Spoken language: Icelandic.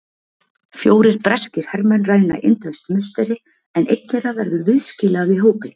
Fjórir breskir hermenn ræna indverskt musteri, en einn þeirra verður viðskila við hópinn.